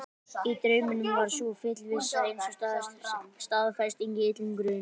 Í draumnum var sú fullvissa eins og staðfesting á illum grun.